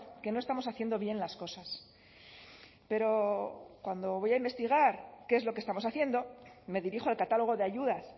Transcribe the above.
que no estamos haciendo bien las cosas pero cuando voy a investigar qué es lo que estamos haciendo me dirijo al catálogo de ayudas